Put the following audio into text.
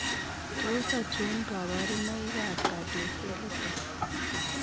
Tos achon kabarunaik ab Cardioskeletal